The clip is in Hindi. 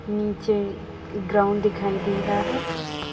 नीचे ग्राउंड दिखाई दे रहा है।